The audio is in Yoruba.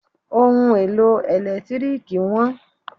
Ohun èlò ẹ̀lẹ́tírìkì wọ́n.